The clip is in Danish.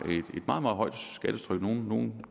man